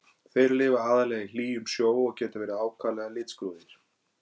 Þeir lifa aðallega í hlýjum sjó og geta verið ákaflega litskrúðugir.